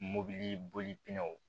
Mobili boliw